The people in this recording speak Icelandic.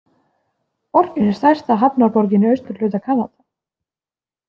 Borgin er stærsta hafnarborgin í austurhluta Kanada.